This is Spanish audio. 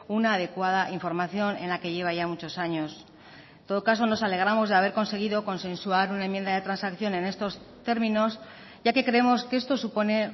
una adecuada información en la que lleva ya muchos años en todo caso nos alegramos de haber conseguido consensuar una enmienda de transacción en estos términos ya que creemos que esto supone